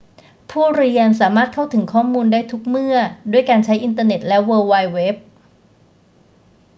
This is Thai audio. ผู้เรียนสามารถเข้าถึงข้อมูลได้ทุกเมื่อด้วยการใช้อินเทอร์เน็ตและเวิลด์ไวด์เว็บ